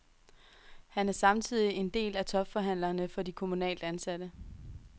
Han er samtidig en af topforhandlerne for de kommunalt ansatte.